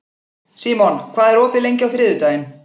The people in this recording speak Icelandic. Símon, hvað er opið lengi á þriðjudaginn?